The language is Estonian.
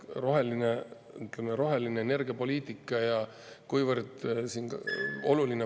Roheline energiapoliitika ja kuivõrd oluline …